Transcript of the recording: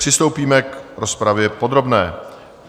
Přistoupíme k rozpravě podrobné.